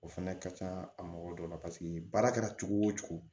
O fɛnɛ ka ca a mɔgɔ dɔ la paseke baara kɛra cogo o cogo